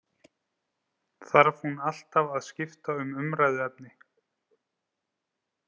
Þarf hún alltaf að skipta um umræðuefni?